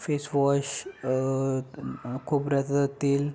face wash अ अ खोबऱ्याच तेल--